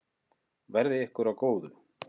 Verði ykkur að góðu.